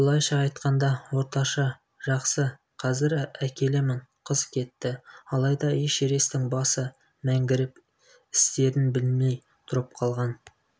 былайша айтқанда орташа жақсы қазір әкелемін қыз кетті алайда эшересттің басы мәңгіріп істерін білмей тұрып қалған